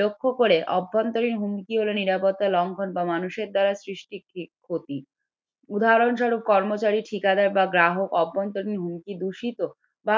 লক্ষ্য করে অভ্যন্তরীণ হুমকি গুলো নিরাপত্তা লঙ্ঘন বা মানুষের দ্বারা সৃষ্টির ক্ষতি। উদাহরণস্বরূপ কর্মচারী ঠিকাদার বা গ্রাহক অভ্যন্তরীণ হুমকি দূষিত বা